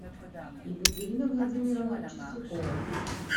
екатерина владимировна чистякова